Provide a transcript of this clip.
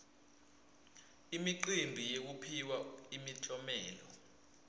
imicimbi yekuphiwa imiklomelo